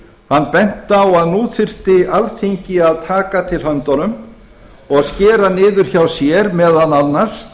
hann benti á að nú þyrfti alþingi að taka til höndunum og skera niður hjá sér meðal annars